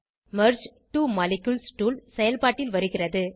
merge two molecules tool செயல்பாட்டில் வருகிறது